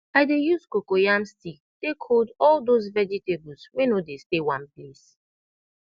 i dey use coco yam stick take hold all dose vegetables wey no dey stay one place